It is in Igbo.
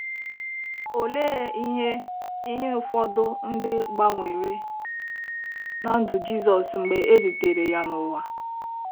Olee ihe ihe ụfọdụ ndị gbanwere ná ndụ Jizọs mgbe e zitere ya n’ụwa?